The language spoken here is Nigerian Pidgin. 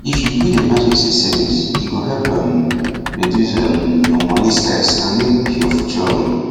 if you build emergency savings e go help um reduce um your money stress and make your future um